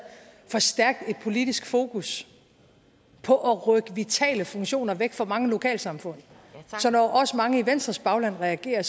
for stærkt et politisk fokus på at rykke vitale funktioner væk fra mange lokalsamfund så når også mange i venstres bagland reagerer